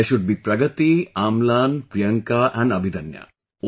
There should be Pragati, Amlan, Priyanka and Abhidanya